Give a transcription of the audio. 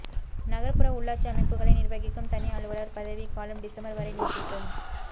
நகர்ப்புற உள்ளாட்சி அமைப்புகளை நிர்வகிக்கும் தனி அலுவலர் பதவிக் காலம் டிசம்பர் வரை நீட்டிப்பு